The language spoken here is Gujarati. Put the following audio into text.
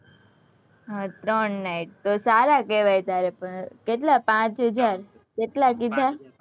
હમ ત્રણ night તો સારા કેવાય તારે, કેટલા પાંચ હજાર કેટલા કીધા